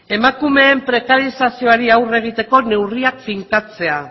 emakumeen prekarizazioari aurre egiteko neurriak finkatzea